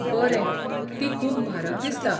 बरें. ती खूब म्हारग दिसता.